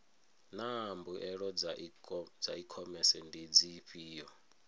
naa mbuelo dza ikhomese ndi dzifhio